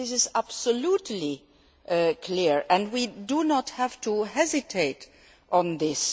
This is absolutely clear, and we do not have to hesitate on this.